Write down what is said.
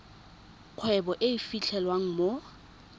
kgwebo e e fitlhelwang mo